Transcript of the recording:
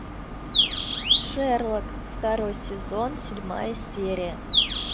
шерлок второй сезон седьмая серия